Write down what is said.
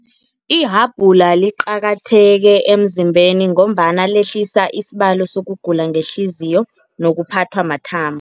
Ihabhula liqakatheke emzimbeni, ngombana lehlisa isibalo sokugula ngehliziyo nokuphathwa mathambo.